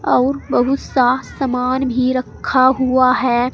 अउर बहुत सा समान भी रखा हुआ है।